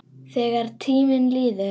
Þegar tíminn líður